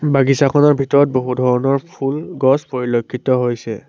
বাগিছাখনৰ ভিতৰত বহু ধৰণৰ ফুল গছ পৰিলক্ষিত হৈছে।